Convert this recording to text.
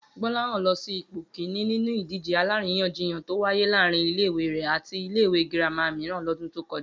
Gbó̩láhàn ló s̩e ipò kìíní nínú ìdíje aláríyànjiyàn tó wáyé láàárín ile-ìwé rè̩ àti ilé-ìwé girama mìíràn lọ́dún tó kọjá